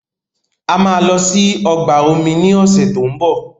A máa lọ sí ọgbà omi ní ọ̀sẹ̀ tó ń bọ̀.